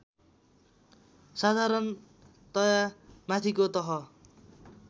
साधारणतया माथिको तह